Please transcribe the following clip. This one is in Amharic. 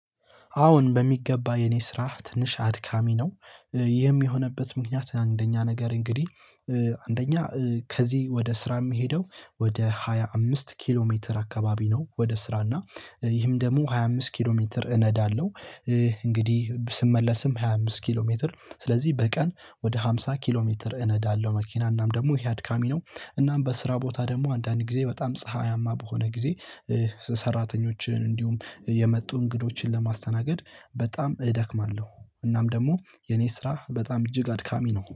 አዎን በሚገባ የኔ ስራ ትንሽ አድካሚ ነው ይህም የሆነበት ምክንያት አንደኛ ነገር እንግዲህ አንደኛ ከዚህ ወደ ስራ የሚሄደው ወደ ሃያ አምስት ኪሎ ሜትር አካባቢ ነው። ወደ ስራ እና ይህም ደግሞ ሃያ አምስት ኪሎ ሜትር እነዳለሁ። እንግዲህ ስመለስም ሃያ አምስት ኪሎ ሜትር ስለዚህ በቀን ወደ ሃምሳ ኪሎ ሜትር እነዳለሁ መኪና እናም ደግሞ ይህ አድካሚ ነው። እናም በስራ ቦታ ደግሞ አንዳንድ ጊዜ በጣም ፀሀያማ በሆነ ጊዜ። ሰራተኞችን እንዲሁም የመጡ እንግዶችን ለማስተናገድ በጣም እደክማለሁ እናም ደግሞ የኔ ስራ በጣም እጅግ አድካሚ ነው